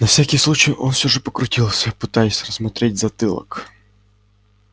на всякий случай он всё же покрутился пытаясь рассмотреть затылок